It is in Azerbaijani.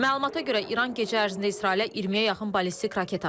Məlumata görə, İran gecə ərzində İsrailə 20-yə yaxın ballistik raket atıb.